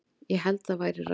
Ég held það væri ráð.